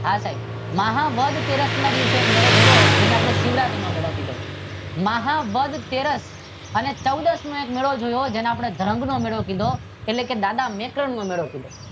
હા સાહેબ મહા વદ તેરસ ના દિવસે એક મેળો ભર્યો તેને આપદે શિવરાત્રી નો મેળો કીધો મહા વદ તેરસ અને ચૌદ ના દિવસે મેળો કીધો જેને આપડે ધાન નો મેળો કીધો દાદા મેકલનો નો મેળો કીધો.